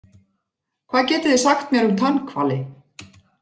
Hvað getið þið sagt mér um tannhvali?